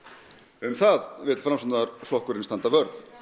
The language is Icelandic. um það vill Framsóknarflokkurinn standa vörð